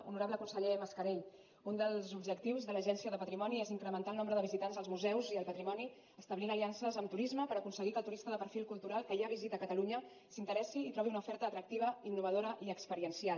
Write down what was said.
honorable conseller mascarell un dels objectius de l’agència del patrimoni és incrementar el nombre de visitants als museus i al patrimoni establint aliances amb turisme per aconseguir que el turista de perfil cultural que ja visita catalunya s’interessi i trobi una oferta atractiva innovadora i experiencial